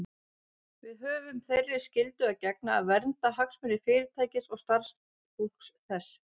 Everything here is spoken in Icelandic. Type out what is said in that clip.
Við höfum þeirri skyldu að gegna að vernda hagsmuni Fyrirtækisins og starfsfólks þess.